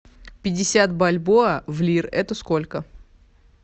пятьдесят бальбоа в лир это сколько